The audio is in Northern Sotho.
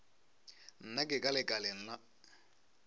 nna ke ka lekaleng la